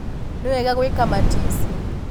Nĩwega gwĩka matici.